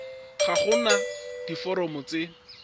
ga go na diforomo tse